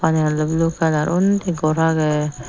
iyan oley blue kalar undi gor agey.